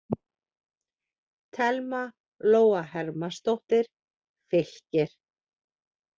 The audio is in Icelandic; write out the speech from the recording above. Thelma Lóa Hermannsdóttir, Fylkir